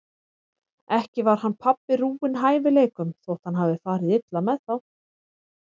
Ekki var hann pabbi rúinn hæfileikum þótt hann hafi farið illa með þá.